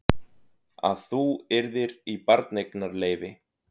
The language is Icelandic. Að þú yrðir í barneignarleyfi.